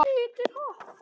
Hvítir hattar.